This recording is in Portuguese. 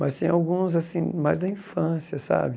Mas tem alguns assim mais da infância, sabe?